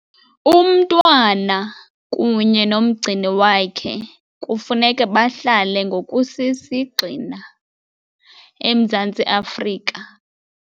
Umntwana kunye nomgcini wakhe kufuneka bahlale ngokusisigxina eMzantsi Afrika.